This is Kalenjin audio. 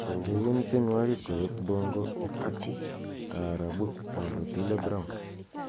ureren tienwogik koyop bongo ak taarabuk ab otile brown